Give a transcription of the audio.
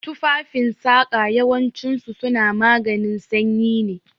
Tufafen saƙa yawancin su suna maganin sanyi ne